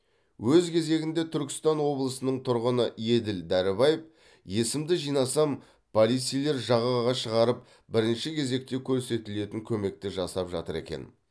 өз кезегінде түркістан облысының тұрғыны еділ дәрібаев есімді жинасам полицейлер жағаға шығарып бірінші кезекте көрсетілетін көмекті жасап жатыр екен